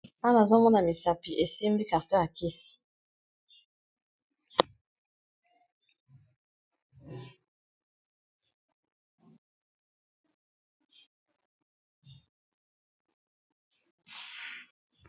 Awa nazo mona misapi esimbi carton ya kisi.